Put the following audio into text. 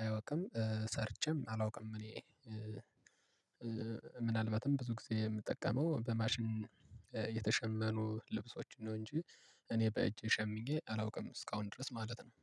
አያውቅም ሰርቼም አላውቅም። እኔ ምናልባትም ብዙ ጊዜ የምጠቀመው በማሽን የተሸመኑ ልብሶችን ነው። እንጂ እኔ በእጅ ሸምኜ አላውቅም እስካሁን ድረስ ማለት ነው።